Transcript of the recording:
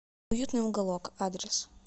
уютный уголок адрес